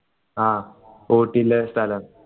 ആ ഊട്ടിയിലെ ഒരു സ്ഥലം